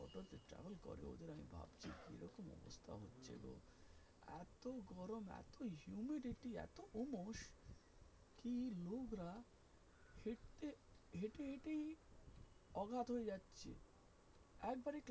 অগাধ হয়ে যাচ্ছে একবারে,